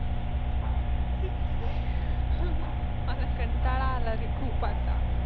मला कंटाळा आलारे खूप आता.